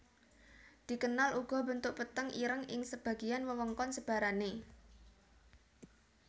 Dikenal uga bentuk peteng ireng ing sebagian wewengkon sebarane